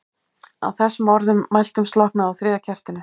Að þessum orðum mæltum slokknaði á þriðja kertinu.